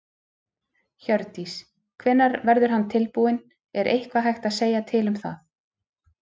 Hjördís: Hvenær verður hann tilbúinn, er eitthvað hægt að segja til um það?